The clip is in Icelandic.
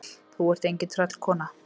Þú ert engin tröllkona.